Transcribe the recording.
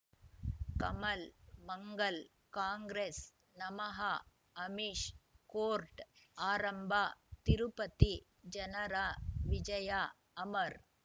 ಕಮಲ್ ಮಂಗಳ್ ಕಾಂಗ್ರೆಸ್ ನಮಃ ಅಮಿಷ್ ಕೋರ್ಟ್ ಆರಂಭ ತಿರುಪತಿ ಜನರ ವಿಜಯ ಅಮರ್